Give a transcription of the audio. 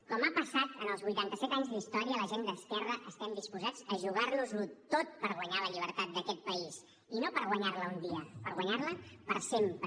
com ha passat en els vuitanta set anys d’història la gent d’esquerra estem disposats a jugar nos ho tot per guanyar la llibertat d’aquest país i no per guanyar la un dia per guanyar la per sempre